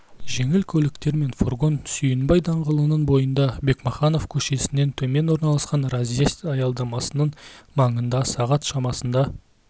жеңіл көліктер мен фургон сүйінбай даңғылының бойында бекмаханов көшесінен төмен орналасқан разъезд аялдамасының маңында сағат шамасында